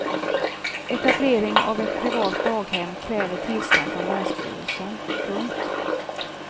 Etablering av ett privat daghem kräver tillstånd från länsstyrelsen. punkt